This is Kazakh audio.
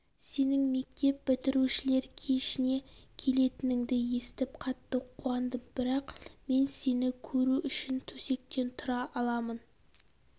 сенің мектеп бітірушілер кешіне келетініңді естіп қатты қуандым бірақ мен сені көру үшін төсектен тұра аламын